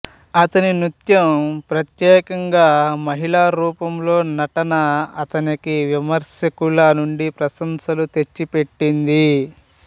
అతని నృత్యం ప్రత్యేకంగా మహిళల రూపంలో నటన అతనికి విమర్శకుల నుండి ప్రశంసలు తెచ్చిపెట్టింది